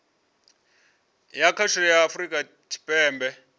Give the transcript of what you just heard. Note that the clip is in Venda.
ya khasho ya afurika tshipembe